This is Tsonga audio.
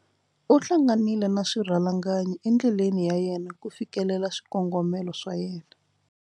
U hlanganile na swirhalanganyi endleleni ya yena ku fikelela swikongomelo swa yena.